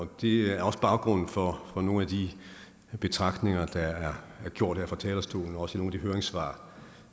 det er også baggrunden for nogle af de betragtninger der er gjort her fra talerstolen og også af de høringssvar